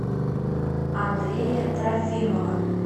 андрея трофимова